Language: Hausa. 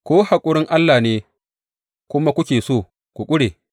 Ko haƙurin Allah ne kuma kuke so ku ƙure?